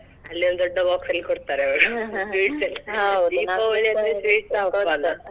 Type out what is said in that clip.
ಅಲ್ಲೊಂದ್ ದೊಡ್ಡ box ಅಲ್ಲಿ ಕೋಡ್ತಾರೆ ಅವ್ರು Deepavali ಯಲ್ಲಿ sweets ನ ಹಬ್ಬಾ ಅಲ್ಲಾ.